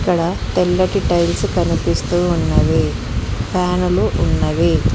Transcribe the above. ఇక్కడ తెల్లటి టైల్స్ కనిపిస్తూ ఉన్నవి ఫ్యాను లు ఉన్నవి.